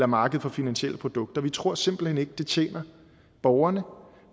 marked for finansielle produkter vi tror simpelt hen ikke at det tjener borgerne